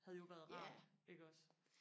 havde jo været rart iggås